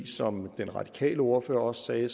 som den radikale ordfører også sagde